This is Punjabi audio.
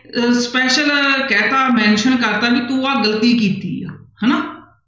ਅਹ special ਕਹਿ ਦਿੱਤਾ mention ਕਰ ਦਿੱਤਾ ਵੀ ਤੂੰ ਆਹ ਗ਼ਲਤੀ ਕੀਤੀ ਆ ਹਨਾ।